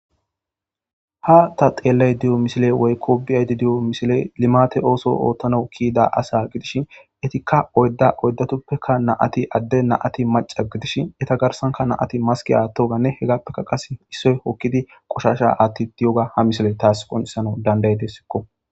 Ha ta xeellay diyo misile woykko bi7aydi diyo misile limate ooso oottano kiida asa gidishi etikka oydda oydatuppekka naati adde naati maca gidishi eta garsanka naati maski attoganne hegappeka qas issoy hokkidi qoshasha atti di7oga ha misile taas qonisano dandaetesikko.